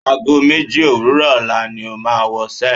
Ago méje òwúrọ̀ ọ̀la ni o máa wọṣẹ́.